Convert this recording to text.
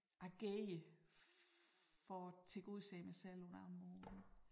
Agere for at tilgodese mig selv på en anden måde